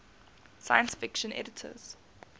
science fiction editors